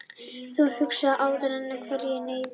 Þú huggun æðst í hverri neyð,